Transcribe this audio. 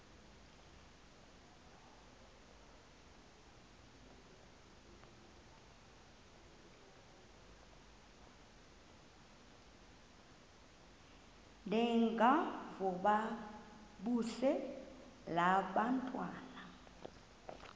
ndengakuvaubuse laa ntwana